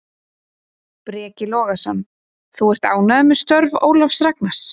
Breki Logason: Þú ert ánægður með störf Ólafs Ragnars?